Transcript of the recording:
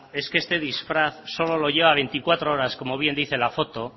es que este disfraz solo lo lleva veinticuatro horas como bien dice la foto